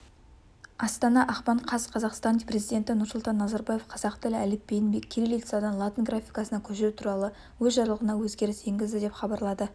астана ақпан қаз қазақстан президенті нұрсұлтан назарбаев қазақ тілі әліпбиін кириллицадан латын графикасына көшіру туралы өз жарлығына өзгеріс енгізді деп хабарлады